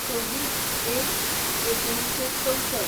२६/०१/१९६४